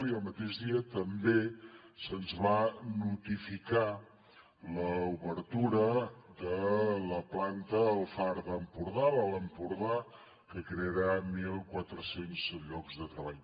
i el mateix dia també se’ns va notificar l’obertura de la planta al far d’empordà l’alt empordà que crearà mil quatre cents llocs de treball